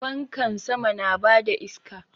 Fankan sama na bada iska